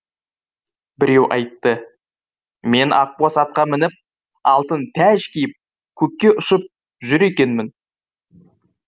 біреуі айтты мен ақбоз атқа мініп алтын тәж киіп көкке ұшып жүр екенмін